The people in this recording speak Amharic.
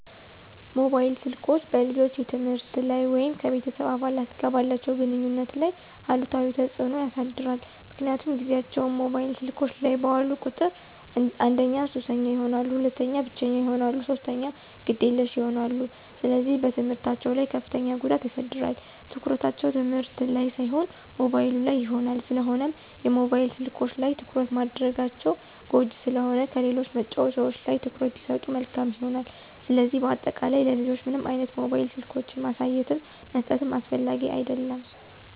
ሞባይል ስልኮች በልጆች የትምህርት ላይ ወይም ከቤተሰብ አባላት ጋር ባላቸው ግንኙነት ላይ አሉታዊ ተጽዕኖ ያሳድራል ምክንያቱም ጊዚያቸውን ሞባይል ስልኮች ላይ ባዋሉ ቁጥር አንደኛ ሱሰኛ ይሆናሉ፣ ሁለተኛ ብቸኛ ይሆናሉ፣ ሶስተኛ ግዴለሽ ይሆናሉ፣ ስለዚህ በትምህርታቸው ላይ ከፍተኛ ጉዳት ያሳድራል፣ ትኩረታቸው ትምህርት ላን ሳይሆን ሞባይሉ ላይ ይሆናል። ስለሆነም የሞባይል ስልኮች ላይ ትኩረት ማድረጋቸው ጎጅ ስለሆነ ከሌሎች መጫዎቻዎች ላይ ትኩረት ቢሰጡ መልካም ይሆናል። ስለዚህ በአጠቃላይ ለልጆች ምንም አይነት ሞባይል ስልኮችን ማሳየትም መስጠትም አስፈላጊ አደለም።